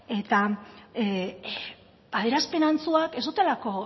eta adierazpen antzuak ez dutelako